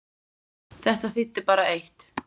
Þetta þýddi bara eitt!